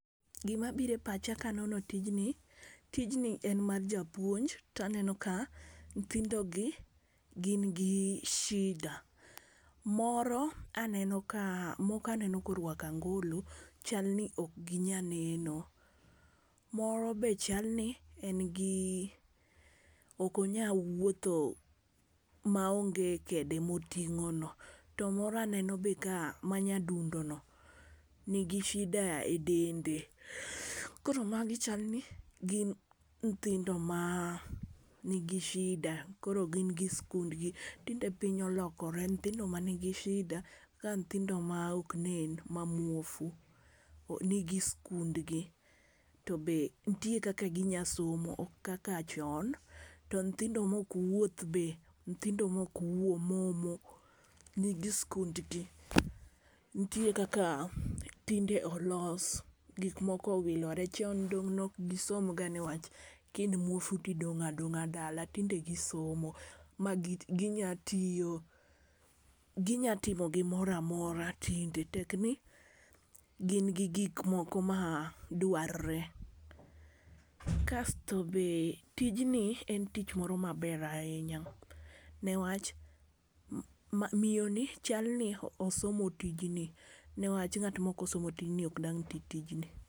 Gima biro epacha ka anono tijni tijni en mar japuonj to aneno ka nyithindogi gin gi shida. Moro aneno kaa moko aneno ka orwako angolo chalni ok gi nya neno. Moro be chalni en gii ok onyal wuotho maonge kede moting'ono. To moro aneno be ka ma nyadundono nigi shida edende. Koro magi chalni gin nyithindo maa nigi shida koro gin gi skundgi. Tinde piny olokore nyithindo manigi shida ka nyithindo ma ok nen ma muofu nigi skundgi to be nitie kaka gi nya somo ok kaka chon. To nyithindo ma ok wuoth be nyithindo maok wuo momo nigi skundgi. Nitie kaka tinde olos gik moko owilore chon dong' nok gisomga niwach ki in muofu tidong' adong'a dala tinde gi somo ma ginya tiyo gi nya timo gimoro amora tinde tekni gin gi gik moko ma dwarre. Kasto be tijni en tich moro maber ahinya ne wach miyoni chalni osomo tijni newacha ng'at ma ok osomo tijni ok dang' titijni.